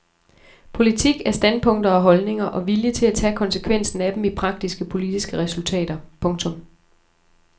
Politik er standpunkter og holdninger og vilje til at tage konsekvensen af dem i praktiske politiske resultater. punktum